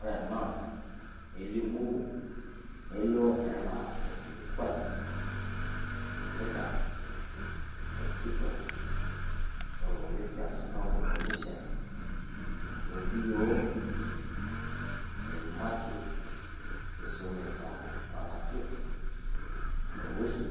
Ore ena nelimu, nelio enaa orkilikuai oisumita olkitok loo lpolisi arashu county commisioner arshu ol D.O eimaki. Eisumita o ratioti o husu